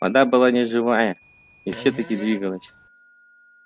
вода была неживая и всё таки двигалась